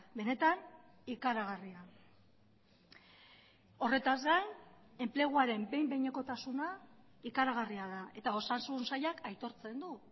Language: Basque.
benetan ikaragarria horretaz gain enpleguaren behin behinekotasuna ikaragarria da eta osasun sailak aitortzen du